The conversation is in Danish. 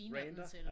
Ranter?